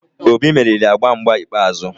Obi meriri agba mgba ikpeazụ